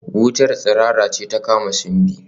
Wutar tsirara ce ta kama Simbi